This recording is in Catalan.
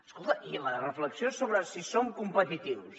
escolta i la reflexió sobre si som competitius